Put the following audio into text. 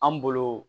An bolo